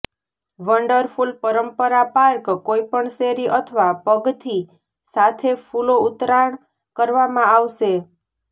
wonderful પરંપરા park કોઈપણ શેરી અથવા પગથી સાથે ફૂલો ઉતરાણ કરવામાં આવશે